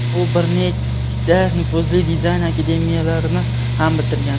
U bir nechta nufuzli dizayn akademiyalarini ham bitirgan.